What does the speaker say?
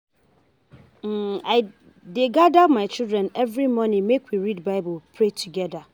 um I dey gada my children every morning make we read Bible pray togeda.